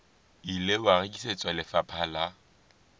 ile wa rekisetswa lefapha la